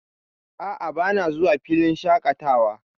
A'a, bana zuwa filin shaƙatawa.